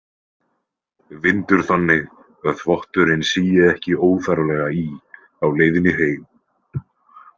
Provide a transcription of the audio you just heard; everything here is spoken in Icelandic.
Vindur þannig að þvotturinn sígi ekki óþarflega í á leiðinni heim.